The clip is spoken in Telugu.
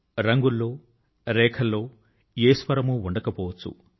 రంగుల్లో రేఖల్లో ఏ స్వరము ఉండకపోవచ్చు